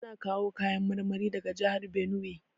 Ana kawo kayan marmari daga jihar Binuwai.